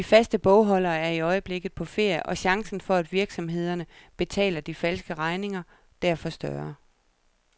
De faste bogholderne er i øjeblikket på ferie og chancen for, at virksomhederne betaler de falske regninger, derfor større.